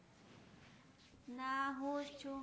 ના હું જ છું